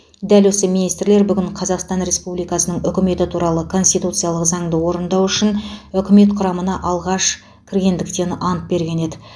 дәл осы министрлер бүгін қазақстан республикасының үкіметі туралы конституциялық заңды орындау үшін үкімет құрамына алғаш кіргендіктен ант берген еді